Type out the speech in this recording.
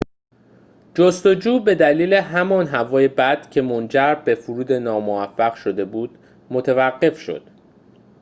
جستجو به دلیل همان هوای بد که منجر به فرود ناموفق شده بود متوقف شد